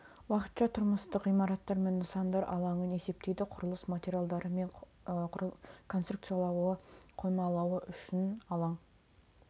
уақытша тұрмыстық ғимараттар мен нысандар алаңын есептейді құрылыс материалдары мен конструкциялары қоймалауы үшін алаң